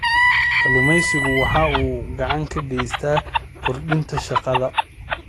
Kalluumaysigu waxa uu gacan ka geystaa kordhinta shaqada.